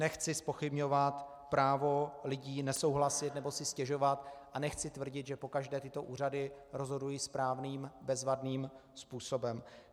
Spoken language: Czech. Nechci zpochybňovat právo lidí nesouhlasit nebo si stěžovat a nechci tvrdit, že pokaždé tyto úřady rozhodují správným, bezvadným způsobem.